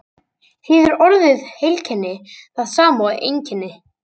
Þýðir orðið heilkenni það sama og einkenni?